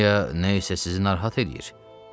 Olmaya nə isə sizi narahat eləyir?